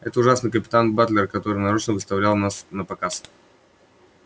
и этот ужасный капитан батлер который нарочно выставлял вас напоказ